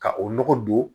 Ka o nɔgɔ don